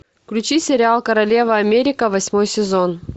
включи сериал королева америка восьмой сезон